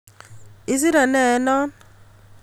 Isire ne eng non?